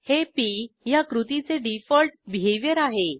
हे पी ह्या कृतीचे डिफॉल्ट बिहेवियर आहे